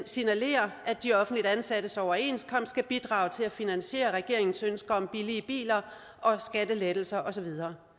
signalerer at de offentligt ansattes overenskomst skal bidrage til at finansiere regeringens ønske om billige biler og skattelettelser og så videre